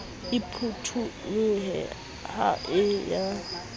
e phutholohile ha e ya